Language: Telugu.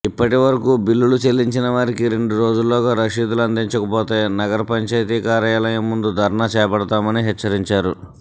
ఇప్పటివరకూ బిల్లులు చెల్లించిన వారికి రెండు రోజుల్లోగా రశీదులు అందించకపోతే నగర పంచాయతీ కార్యాలయం ముందు ధర్నా చేపడతామని హెచ్చరించారు